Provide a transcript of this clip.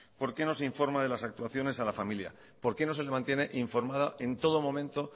por qué no se informa de las actuaciones a la familia por qué no se le mantiene informada en todo momento